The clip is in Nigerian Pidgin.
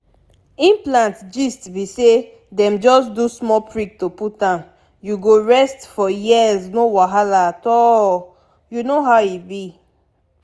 implant gist be saydem just do small prick to put m— you go rest for years no wahala at all you know how e b.